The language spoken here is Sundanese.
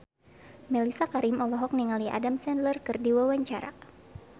Mellisa Karim olohok ningali Adam Sandler keur diwawancara